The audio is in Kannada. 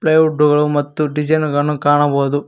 ಪ್ಲೇ ವುಡ್ ಡೋರು ಮತ್ತು ಡಿಸೈನು ಗಳನ್ನು ಕಾಣಬೌದು.